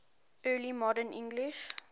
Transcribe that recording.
early modern english